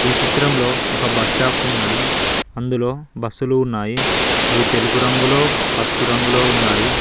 ఈ చిత్రంలో ఒక బస్టాప్ ఉన్నది అందులో బస్సులు ఉన్నాయి అవి తెలుపు రంగులో పసుపు రంగులో ఉన్నాయి.